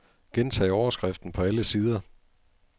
Gentag overskriften på alle sider.